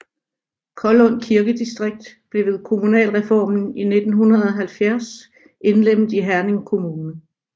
Kollund Kirkedistrikt blev ved kommunalreformen i 1970 indlemmet i Herning Kommune